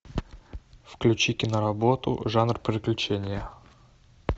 включи киноработу жанр приключения